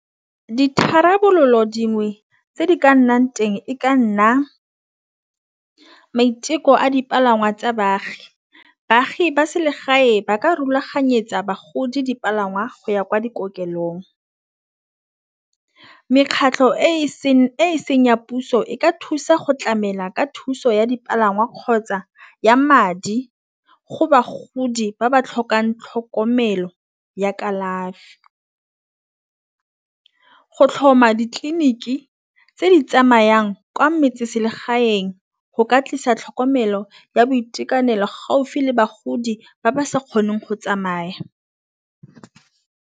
Ditharabololo dingwe tse di ka nnang teng e ka nna maiteko a dipalangwa tsa baagi. Baagi ba selegae ba ka rulaganyetsa bagodi dipalangwa go ya kwa dikokelong. Mekgatlho e seng ya puso e ka thusa go tlamela ka thuso ya dipalangwa kgotsa ya madi go bagodi ba ba tlhokang tlhokomelo ya kalafi. Go tlhoma ditleliniki tse di tsamayang kwa metseselegaeng go ka tlisa tlhokomelo ya boitekanelo gaufi le bagodi ba ba sa kgoneng go tsamaya.